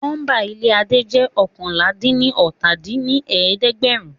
Nọ́mbà ilé Adé jẹ́ oókànlá-dín-ní-ọ́ta dín ní ẹ̀ẹ́dẹ́gbẹ́rún